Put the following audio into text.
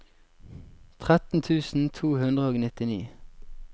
tretten tusen to hundre og nittini